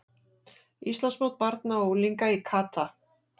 Íslandsmót barna og unglinga í kata